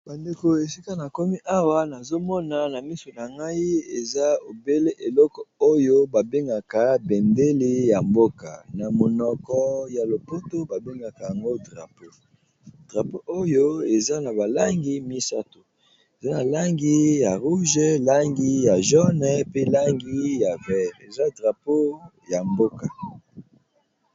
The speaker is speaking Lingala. Bandeko esika namoni awa nazomona namiso nangai eza obele bendele ya mboka babengaka yango drapeau drapeau oyo eza nabalangi misatu eza nabalangi ya motane nalangi ya mosaka na langi ya mai ya mai ya pondu